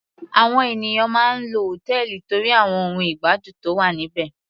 Àwọn ènìyàn máa ń lọ hòtẹ́ẹ̀lì torí àwọn ohun ìgbádùn tó wà níbẹ̀.